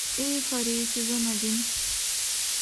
эйфория сезон один